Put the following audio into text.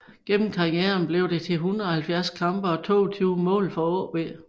Gennem karrieren blev det til 170 kampe og 22 mål for AaB